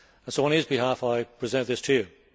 On his behalf, I present this to you.